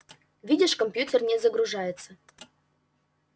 видишь компьютер не загружается